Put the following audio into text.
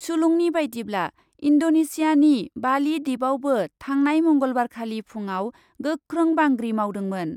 सुलुंनि बायदिब्ला, इन्डनेसियानि बालि द्विपआवबो थांनाय मंगलबारखालि फुङाव गोख्रों बांग्रि मावदोंमोन ।